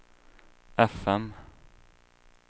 fm